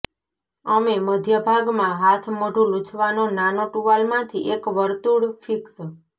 અમે મધ્ય ભાગમાં હાથમોઢું લૂછવાનો નાનો ટુવાલ માંથી એક વર્તુળ ફિક્સ